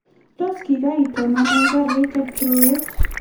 Tos kikaitonone garit eng' tulwet